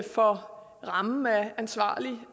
for rammen af ansvarlig